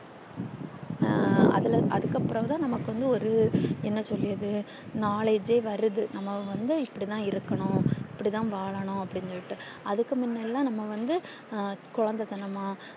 ஹம் அதுல அதுக்கு அப்புறம் தான் நமக்கு வந்து ஒரு என்ன சொல்லியது knowledge வருது நம்ம வந்து இப்டி தான் இருக்கனும் இப்டி தான் வாழனும் அப்டின்னு சொல்லிட்டு அதுக்கு முன்னடில்லா நம்ம வந்து குழந்தைத்தனம்மா